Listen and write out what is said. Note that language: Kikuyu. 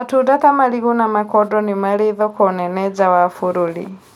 Matunda ta marigũ na makodo nimarĩthoko nene nja ya bũrũri